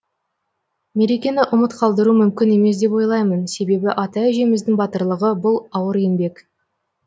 мерекені ұмыт қалдыру мүмкін емес деп ойлаймын себебі ата әжеміздің батырлығы бұл ауыр еңбек